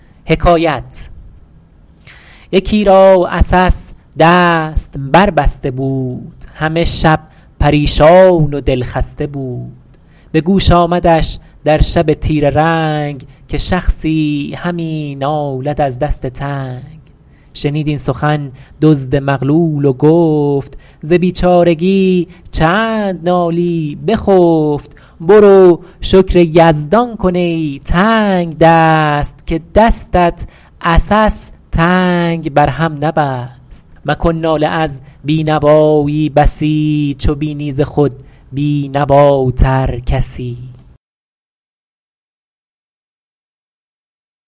یکی را عسس دست بر بسته بود همه شب پریشان و دلخسته بود به گوش آمدش در شب تیره رنگ که شخصی همی نالد از دست تنگ شنید این سخن دزد مغلول و گفت ز بیچارگی چند نالی بخفت برو شکر یزدان کن ای تنگدست که دستت عسس تنگ بر هم نبست مکن ناله از بینوایی بسی چو بینی ز خود بینواتر کسی